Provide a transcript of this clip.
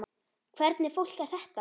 Hvernig fólk er þetta?